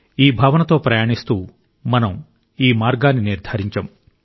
ఈ భావనతో ప్రయాణిస్తూ మనం ఈ మార్గాన్ని నిర్ధారించాం